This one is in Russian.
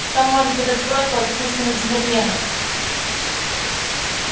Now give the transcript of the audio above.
что может этот сброд против истинных джентльменов